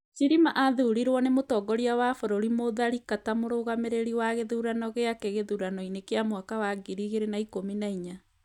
Chilima aathurirwo nĩ Mũtongoria wa bũrũri Mutharika ta mũrũgamĩrĩri wa gĩthurano giake gĩthurano-inĩ kĩa mwaka wa 2014.